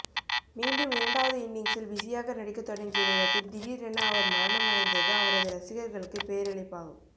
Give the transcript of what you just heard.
மீண்டும் இரண்டாவது இன்னிங்சில் பிசியாக நடிக்க தொடங்கிய நேரத்தில் திடீரென அவர் மரணம் அடைந்தது அவரது ரசிகர்களுக்கு பேரிழப்பாகும்